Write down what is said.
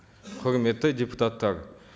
құрметті депутаттар